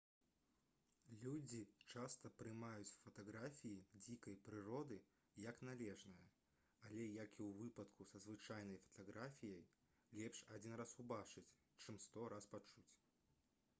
людзі часта прымаюць фатаграфіі дзікай прыроды як належнае але як і ў выпадку са звычайнай фатаграфіяй лепш адзін раз убачыць чым сто раз пачуць